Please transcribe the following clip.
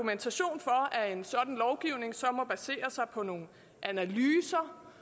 er at en sådan lovgivning så må basere sig på nogle analyser